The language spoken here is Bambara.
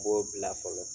N b'o bila fɔlɔ